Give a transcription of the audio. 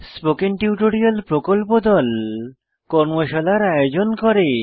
spoken tutorial প্রকল্প দল কর্মশালার আয়োজন করে